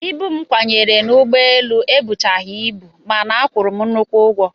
Ibu m kwanyere n'ụgbọelu ebuchaghị ibu mana a kwụrụ m nnukwu ụgwọ